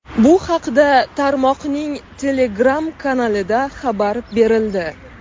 Bu haqda tarmoqning Telegram kanalida xabar berildi .